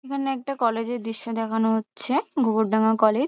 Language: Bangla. এখানে একটা কলেজ -এর দৃশ্য দেখানো হচ্ছে। গোবরডাঙ্গা কলেজ ।